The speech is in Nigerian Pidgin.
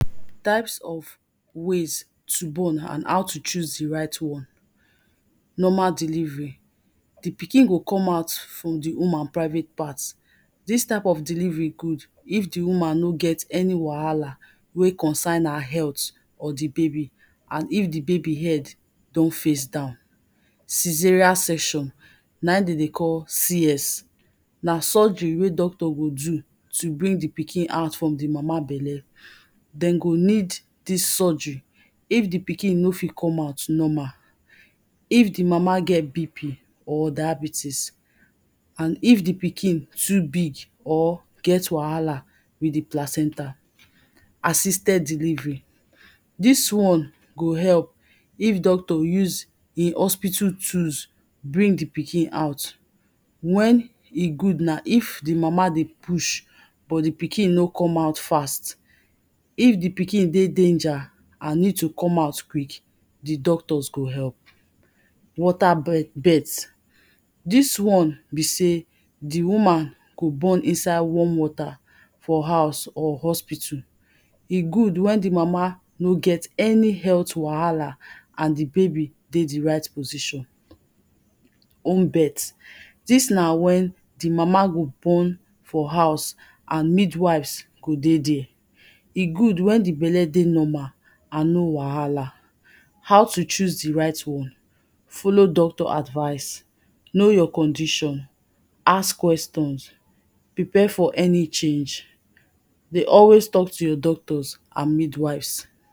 Type of ways to born and how to choose di right one. Normal delivery, di pikin go come out from di woman private part, dis type of delivery good if di woman no get any wahala wey concern her health or di baby, and if di baby head don face down. cesarean section, na im dem dey call, C.S na surgery wey doctor go do, to bring di pikin out from di mama belle. Dem go need dis surgery if di pikin no fit come out normal, if di mama get BP or diabetes and if di pikin too big or get wahala with the placenta. Assisted delivery, dis one go help if doctor use e hospital tools bring di pikin out. When e good na if di mama dey push but di pikin no come out fast. If di pikin dey danger and need to come out quick, di doctors go help. Water birth, dis one be sey, di woman go born inside warm water for house or hospital, e good wen di mama nor get any wahala and di baby dey di right position. Home birth, dis na when di mama go born for house, and midwives dey there, e good wen di belle dey normal and no wahala. How to choose di right one, follow doctor advice, now your condition, ask questions, prepare for any change, dey always talk to your doctors and midwives.